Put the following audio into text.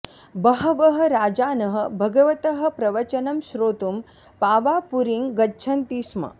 बहवः राजानः भगवतः प्रवचनं श्रोतुं पावापुरीं गच्छन्ति स्म